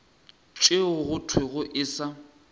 tšeo go thwego e sa